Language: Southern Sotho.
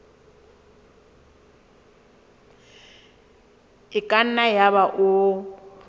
e ka nna yaba o